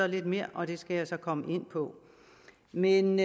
lidt mere og det skal jeg komme ind på men